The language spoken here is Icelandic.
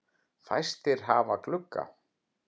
Fæstir hafa glugga.